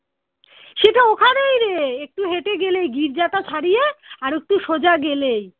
সেটা ওখানেই রে একটু হেঁটে গেলেই গির্জাটা ছাড়িয়ে আর একটু সোজা গেলেই